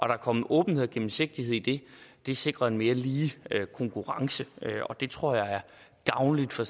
der kommer åbenhed og gennemsigtighed i det sikrer en mere lige konkurrence og det tror jeg er gavnligt for